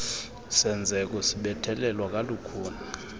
senzeko sibethelelwa kalukhuni